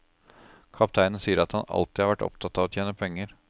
Kapteinen sier at han alltid har vært opptatt av å tjene penger.